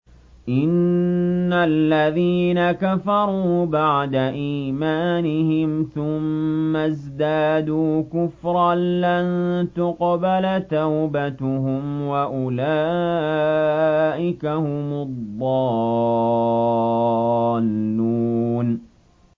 إِنَّ الَّذِينَ كَفَرُوا بَعْدَ إِيمَانِهِمْ ثُمَّ ازْدَادُوا كُفْرًا لَّن تُقْبَلَ تَوْبَتُهُمْ وَأُولَٰئِكَ هُمُ الضَّالُّونَ